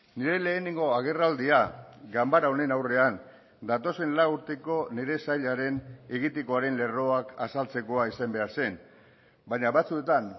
nire lehenengo agerraldia ganbara honen aurrean datozen lau urteko nire sailaren egitekoaren lerroak azaltzekoa izan behar zen baina batzuetan